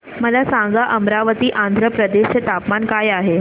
मला सांगा अमरावती आंध्र प्रदेश चे तापमान काय आहे